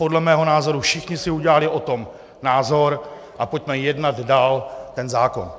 Podle mého názoru všichni si udělali o tom názor a pojďme jednat dál ten zákon.